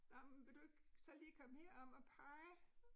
Nåh, men vil du ikke så lige komme herom og pege?